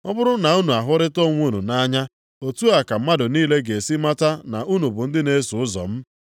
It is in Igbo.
Ọ bụrụ na unu ahụrịta onwe unu nʼanya, otu a ka mmadụ niile ga-esi mata na unu bụ ndị na-eso ụzọ m.”